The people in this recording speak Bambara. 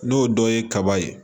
N'o dɔ ye kaba ye